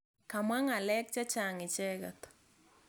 Kamwa ng'alek che chang' icheket.